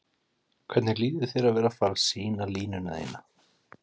Hvernig líður þér að vera fara sýna línuna þína?